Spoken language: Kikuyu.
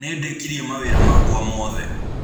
Nĩndĩkĩrĩe mawĩra makwa mothe.